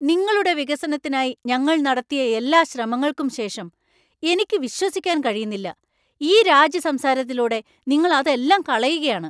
നിങ്ങളുടെ വികസനത്തിനായി ഞങ്ങൾ നടത്തിയ എല്ലാ ശ്രമങ്ങൾക്കും ശേഷം, എനിക്ക് വിശ്വസിക്കാൻ കഴിയുന്നില്ല, ഈ രാജി സംസാരത്തിലൂടെ നിങ്ങൾ അതെല്ലാം കളയുകയാണ്.